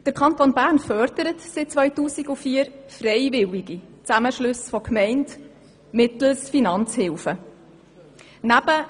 Seit 2004 fördert unser Kanton freiwillige Zusammenschlüsse von Gemeinden mittels Finanzhilfen.